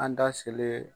An da selen